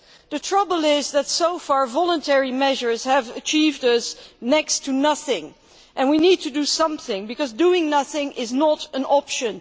The trouble is that, so far, voluntary measures have achieved next to nothing, and we need to do something because doing nothing is not an option.